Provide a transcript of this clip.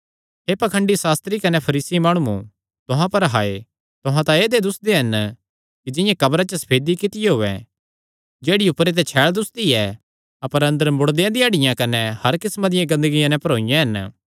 हे पाखंडी सास्त्री कने फरीसी माणुओ तुहां पर हाय तुहां तां ऐदेय दुस्सदे हन कि जिंआं कब्रा च सफेदी कित्तियो होयैं जेह्ड़ी ऊपरे ते छैल़ दुस्सदी ऐ अपर अंदर मुड़देयां दी हड्डियां कने हर किस्मा दिया गन्दगियां नैं भरोईयां हन